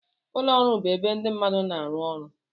Ụlọ ọrụ bụ ebe ndị mmadụ na-arụ ọrụ